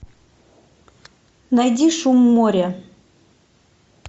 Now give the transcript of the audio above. найди шум моря